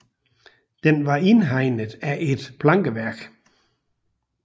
Den var indhegnet af et plankeværk